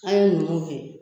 An ye numuw he